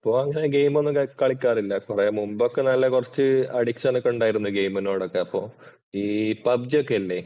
ഇപ്പൊ അങ്ങനെ ഗെയിം ഒന്നും കളിക്കാറില്ല മുമ്പൊക്കെ നല്ല കുറച്ച് അഡിക്ഷന്‍ ഒക്കെ ഉണ്ടായിരുന്നു ഗെയിമിനോടൊക്കെ. അപ്പോ ഈ പബ്ജി ഒക്കെ ഇല്ലേ?